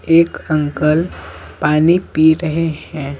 एक अंकल पानी पी रहे हैं।